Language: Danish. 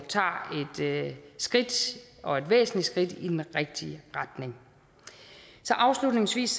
tager et skridt og et væsentligt skridt i den rigtige retning så afslutningsvis